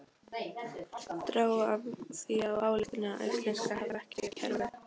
Dró af því þá ályktun að Íslendingar hefðu ekkert taugakerfi.